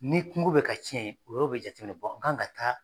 Ni kungo bɛ ka tiɲɛ, o yɔrɔ bɛ jateminɛ an ka taa